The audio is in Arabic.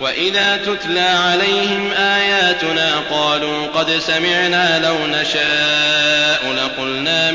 وَإِذَا تُتْلَىٰ عَلَيْهِمْ آيَاتُنَا قَالُوا قَدْ سَمِعْنَا لَوْ نَشَاءُ لَقُلْنَا